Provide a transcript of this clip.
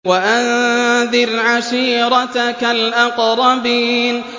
وَأَنذِرْ عَشِيرَتَكَ الْأَقْرَبِينَ